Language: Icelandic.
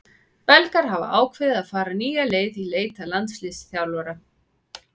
Belgar hafa ákveðið að fara nýja leið í leit að landsliðsþjálfara.